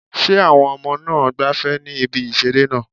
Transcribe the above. Ṣé àwọn ọmọ náà ń gbafẹ́ ní ibi ìseré náà?